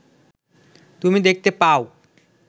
তুমি দেখতে পাও